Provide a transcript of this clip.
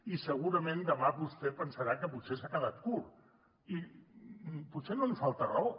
i segurament demà vostè pensarà que potser s’ha quedat curt i potser no li falta raó